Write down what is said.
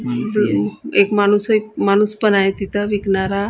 एक माणूस एक माणूस पण आय तिथं विकणारा.